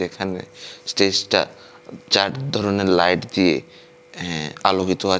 এখানে স্টেজটা চার ধরনের লাইট দিয়ে অ্যা আলোকিত আছে।